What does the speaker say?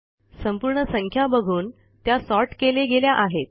संपूर्ण संख्या बघून त्या सॉर्ट केले गेल्या आहेत